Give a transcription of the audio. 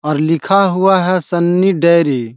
और लिखा हुआ है सन्नी डेयरी ।